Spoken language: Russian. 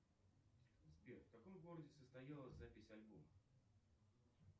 сбер в каком городе состоялась запись альбома